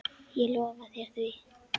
Ég lofa þér því.